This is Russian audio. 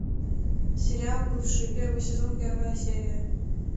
сериал бывшие первый сезон первая серия